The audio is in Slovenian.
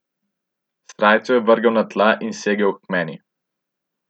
Srajco je vrgel na tla in segel k meni.